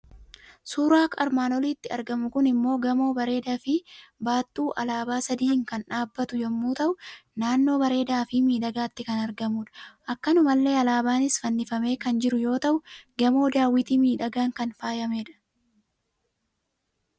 Suuraa armaan olitti argamu kun immoo gamoo bareedafi baattuu Alaabaa sadii kan dhaabbatu yommuu ta'u, naannoo bareedafi miidhagaatti kan argmudha; akkanumallee alaabanis fannifamee kan jiru yoo ta'u gamoo daawwitii miidhagan kan faayamedha.